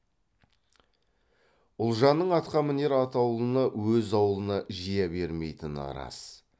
ұлжанның атқамінер атаулыны өз аулына жия бермейтіні рас